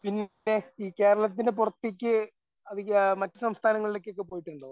പിന്നെ ഈ കേരളത്തിന്റെ പുറത്തേക്ക് അധിക മറ്റ് സംസ്ഥാനങ്ങളിലേക്കൊക്കെ പോയിട്ടുണ്ടോ?